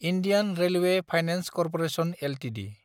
Indian Railway Finance Corporation Ltd